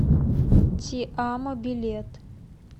ти амо билет